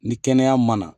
Ni kɛnɛya ma na